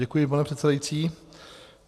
Děkuji, pane předsedající.